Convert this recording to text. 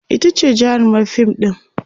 itace jarumar fim ɗin